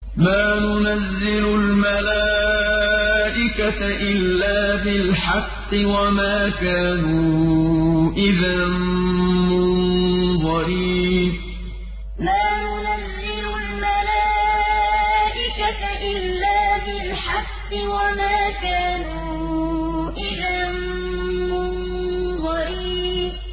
مَا نُنَزِّلُ الْمَلَائِكَةَ إِلَّا بِالْحَقِّ وَمَا كَانُوا إِذًا مُّنظَرِينَ مَا نُنَزِّلُ الْمَلَائِكَةَ إِلَّا بِالْحَقِّ وَمَا كَانُوا إِذًا مُّنظَرِينَ